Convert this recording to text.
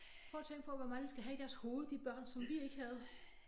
Prøv at tænk på hvor meget de skal have i deres hoved de børn som vi ikke havde